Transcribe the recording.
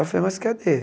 Aí eu falei, mas cadê?